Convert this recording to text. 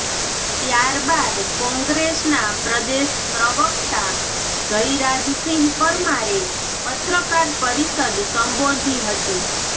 ત્યાર બાદ કોંગ્રેસનાં પ્રદેશ પ્રવકતા જયરાજસિંહ પરમારે પત્રકાર પરિષદ સંબોધી હતી